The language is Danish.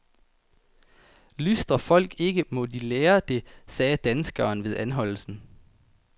Lystrer folk ikke, må de lære det, sagde danskeren ved anholdelsen.